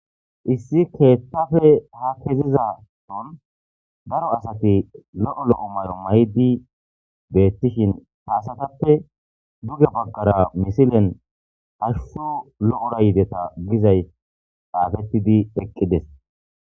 Issi keththappe ha keziza son daaro asati lo'o lo'o mayo mayidi bettishin ha asatappe duuge baggera missilen hashshu lo'ora yiideta giizaysi xaffetidi eqqides.